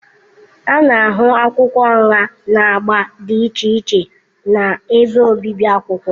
A na-ahụ akwụkwọ nha na agba dị iche iche na ebe obibi akwụkwọ.